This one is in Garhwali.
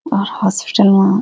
और होस्पीटल मा --